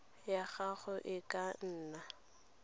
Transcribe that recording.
ya gago e ka nna